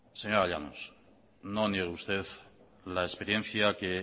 señora llanos no niegue usted la experiencia que